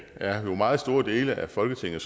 er meget store dele af folketinget